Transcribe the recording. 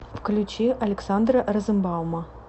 включи александра розенбаума